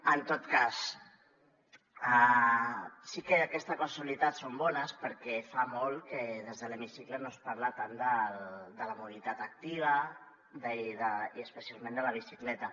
en tot cas sí que aquestes casualitats són bones perquè fa molt que des de l’hemicicle no es parla tant de la mobilitat activa i especialment de la bicicleta